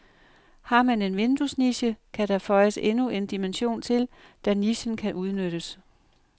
Har man en vinduesniche, kan der føjes endnu en dimension til, da nichen kan udnyttes.